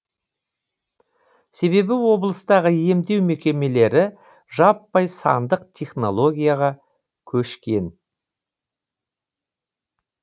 себебі облыстағы емдеу мекемелері жаппай сандық технологияға көшкен